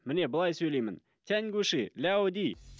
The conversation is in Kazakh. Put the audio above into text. міне былай сөйлеймін тянгуши ляуди